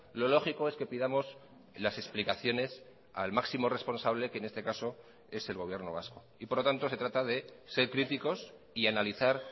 lo lógico es que pidamos las explicaciones al máximo responsable que en este caso es el gobierno vasco y por lo tanto se trata de ser críticos y analizar